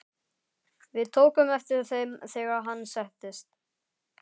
Við tókum eftir þeim, þegar hann settist.